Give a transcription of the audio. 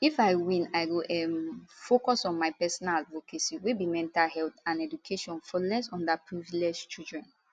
if i win i go um focus on my personal advocacy wey be mental health and education for less under privilege children